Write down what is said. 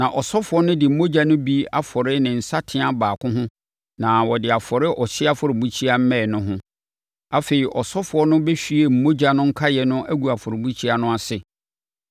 Na ɔsɔfoɔ no de mogya no bi afɔre ne nsateaa baako ho na ɔde afɔre ɔhyeɛ afɔrebukyia mmɛn no ho. Afei, ɔsɔfoɔ no bɛhwie mogya no nkaeɛ no agu afɔrebukyia no ase.